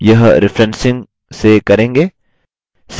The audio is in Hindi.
यह referencing से करेंगे